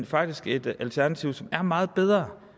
faktisk nu et alternativ som er meget bedre